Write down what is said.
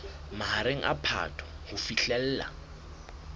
mahareng a phato ho fihlela